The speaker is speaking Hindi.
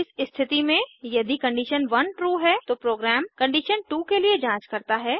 इस स्थिति में यदि कंडीशन 1ट्रू है तो प्रोग्राम कंडीशन 2 के लिए जांच करता है